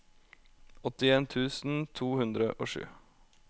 åttien tusen to hundre og sju